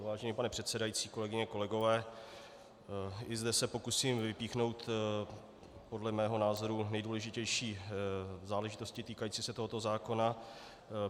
Vážený pane předsedající, kolegyně, kolegové, i zde se pokusím vypíchnout podle mého názoru nejdůležitější záležitosti týkající se tohoto zákona.